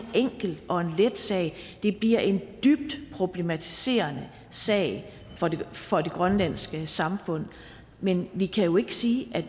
enkel og en let sag det bliver en dybt problematiserende sag for det grønlandske samfund men vi kan jo ikke sige